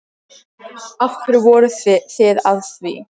Af hverju voruð þið að því?